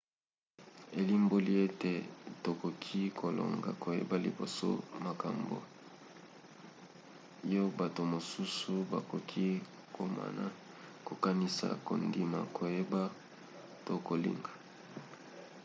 elimboli ete tokoki kolonga koyeba liboso makambo yo bato mosusu bakoki komona kokanisa kondima koyeba to kolinga